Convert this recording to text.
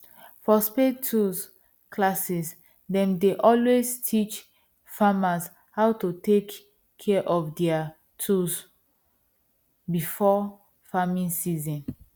for spade tools classes them dey always teach farmers how to take care of there tools before farming season